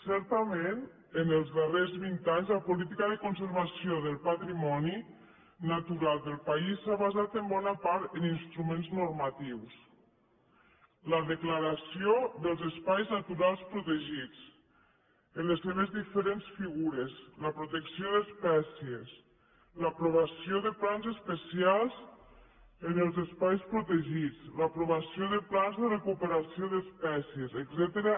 certament en els darrers vint anys la política de conservació del patrimoni natural del país s’ha basat en bona part en instruments normatius la declaració dels espais naturals protegits en les seves diferents figures la protecció d’espècies l’aprovació de plans especials en els espais protegits l’aprovació de plans de recuperació d’espècies etcètera